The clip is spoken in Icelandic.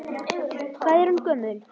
Hvað er hún gömul?